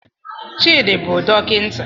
Chidi bụ dọkịta